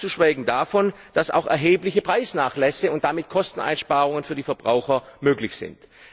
Ganz zu schweigen davon, dass auch erhebliche Preisnachlässe und damit Kosteneinsparungen für die Verbraucher möglich sind.